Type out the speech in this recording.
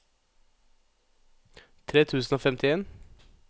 tre tusen og femtien